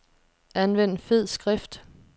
Anvend fed skrift.